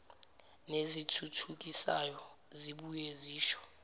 nezithuthukisayo zibuye zisho